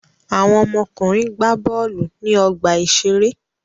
Àwọn ọmọkùnrin gbá bọ́ọ́lù ní ọgbà-ìṣeré.